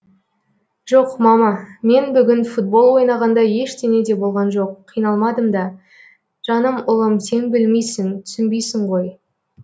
жоқ мама мен бүгін футбол ойнағанда ештеңе де болған жоқ қиналмадым да жаным ұлым сен білмейсің түсінбейсің ғой